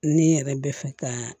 Ni n yɛrɛ bɛ fɛ ka